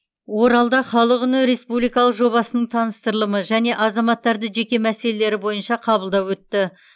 оралда халық үні республикалық жобасының таныстырылымы және азаматтарды жеке мәселелері бойынша қабылдау өтті